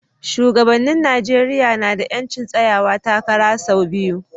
Shugabannin Najeriya na da 'yancin tsayawa takara sau biyu.